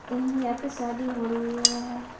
ये यहाँ पर शादी हो रही है।